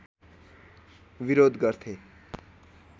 विरोध गर्थे